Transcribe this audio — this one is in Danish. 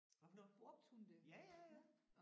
Hvad for noget? Ja ja ja